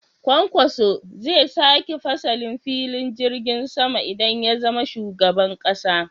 Kwankwaso zai sake fasalin filin jirgin sama idan ya zama shugaban ƙasa